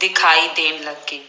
ਦਿਖਾਈ ਦੇਣ ਲੱਗੀ।